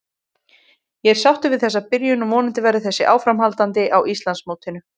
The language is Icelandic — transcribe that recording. Ég er sáttur við þessa byrjun og vonandi verður þetta áframhaldandi á Íslandsmótinu.